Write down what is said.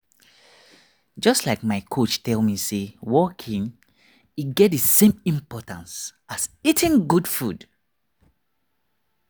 just like my coach tell me say walking e get the same importance as eating good food.